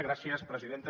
gràcies presidenta